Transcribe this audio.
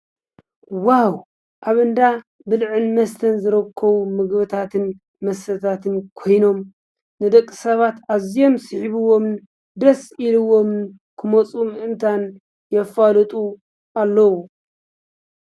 ዋዉ ኣብ እንዳብልዕን መስተን ዝርከቡ ምግብታትን መስተታትን ኮይኖም ንደቂ ሰባት ኣዝዮም ስሒብዎም ደስ ኢልዎም ክመፁ ምእንታን የፋልጡ ኣለዉ።